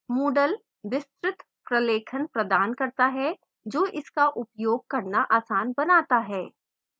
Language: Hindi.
moodle विस्तृत प्रलेखन प्रदान करता है जो इसका उपयोग करना आसान बनाता है